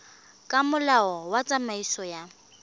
ka molao wa tsamaiso ya